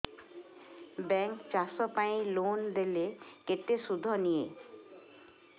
bank ଚାଷ ପାଇଁ loan ଦେଲେ କେତେ ସୁଧ ନିଏ